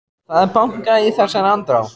Það er bankað í þessari andrá.